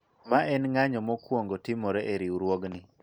mae en ng'anyo mokwongo timore e riwruogni